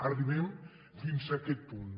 arribem fins a aquest punt